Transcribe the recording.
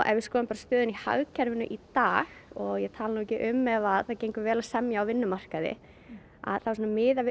ef við skoðum bara stöðuna í hagkerfinu í dag og ég tala ekki um ef það gengur vel að semja á vinnumarkaði þá miðað við